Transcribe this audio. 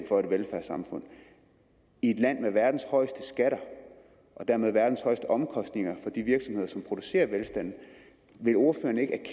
for et velfærdssamfund i et land med verdens højeste skatter og dermed verdens højeste omkostninger for de virksomheder som producerer velstand